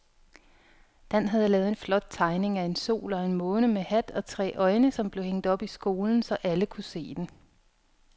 Dan havde lavet en flot tegning af en sol og en måne med hat og tre øjne, som blev hængt op i skolen, så alle kunne se den.